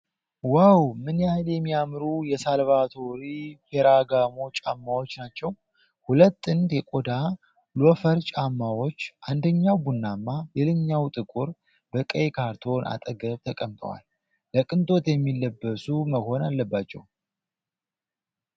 ዋው! ምን ያህል የሚያምሩ የሳልቫቶሬ ፌራጋሞ ጫማዎች ናቸው። ሁለት ጥንድ የቆዳ ሎፈር ጫማዎች፣ አንደኛው ቡናማ ሌላኛው ጥቁር፣ በቀይ ካርቶን አጠገብ ተቀምጠዋል። ለቅንጦት የሚለበሱ መሆን አለባችው!